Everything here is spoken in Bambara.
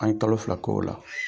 An ye kalo fila k'o la.